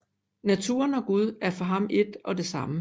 Naturen og Gud er for ham ét og det samme